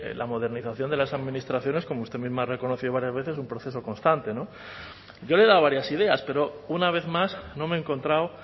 la modernización de las administraciones como usted misma ha reconocido varias veces es un proceso constante yo le he dado varias ideas pero una vez más no me he encontrado